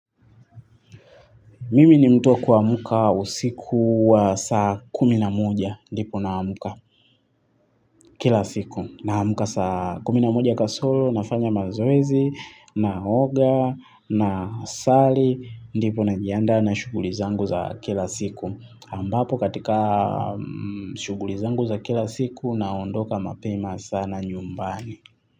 Mimi ni mtu wa kuamka usiku wa saa kumi na moja dipo naamka. Kila siku naamka saa kumi na moja kasoro, nafanya mazoezi, naoga naswali, ndipo najiandaa na shughuli zangu za kila siku ambapo katika shughuli zangu za kila siku naondoka mapema sana nyumbani.